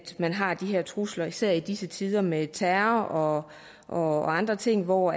man har de her trusler især i disse tider med terror og andre ting hvor